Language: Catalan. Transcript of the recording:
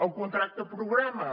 el contracte programa